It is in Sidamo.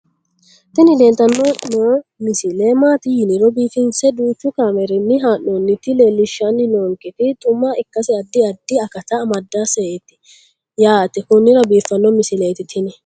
tini leeltanni noo misile maaati yiniro biifinse danchu kaamerinni haa'noonnita leellishshanni nonketi xuma ikkase addi addi akata amadaseeti yaate konnira biiffanno misileeti tini